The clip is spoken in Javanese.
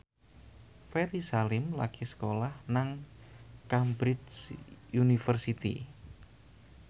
Ferry Salim lagi sekolah nang Cambridge University